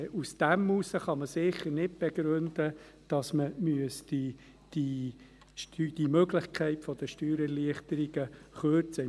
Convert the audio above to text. Aber gestützt darauf kann man sicher nicht begründen, dass man die Möglichkeit der Steuererleichterungen kürzen müsste.